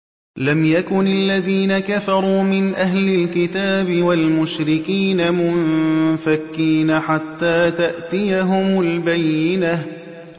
لَمْ يَكُنِ الَّذِينَ كَفَرُوا مِنْ أَهْلِ الْكِتَابِ وَالْمُشْرِكِينَ مُنفَكِّينَ حَتَّىٰ تَأْتِيَهُمُ الْبَيِّنَةُ